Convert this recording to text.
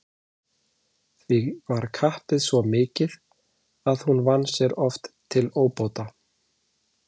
Því var kappið svo mikið að hún vann sér oft til óbóta.